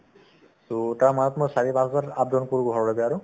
so, তাৰে মাজত মই চাৰি পাঁচবাৰ up down কৰো ঘৰলৈকে আৰু